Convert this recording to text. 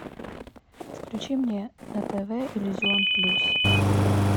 включи мне на тв иллюзион плюс